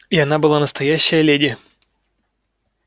и она была настоящая леди